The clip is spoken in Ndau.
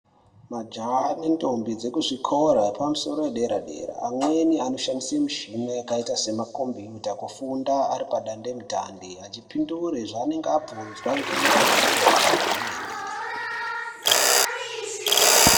Majaha nendombi dzekuzvikora epamusoro edera-dera, amweni anoshandise mishina yakaita semakombiyuta kufunda ari padande mutande achipindure zvaanenge abvunzwa ngemuraidziri wavo kwemene.